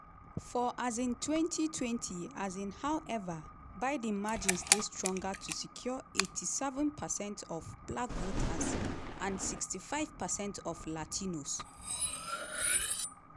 for um 2020 um howeva biden margins dey stronger to secure 87 percent of black voters and 65 percent of latinos.